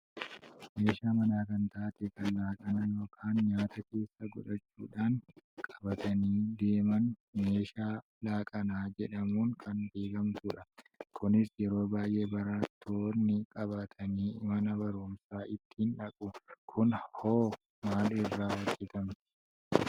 Meeshaa mana kan taate kan laaqana yookaan nyaata keessa godhachuudhaan qabatanii deemaan meeshaa laaqanaa jedhamuun kan beekkamtudha. Kunis yeroo baayyee barattoonni qabatanii mana barumsaa ittiin dhaqu. Kun hoo Maal irraa hojjatamti?